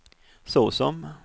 såsom